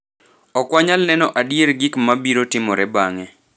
Ok wanyal neno adier gik ma biro timore bang’e.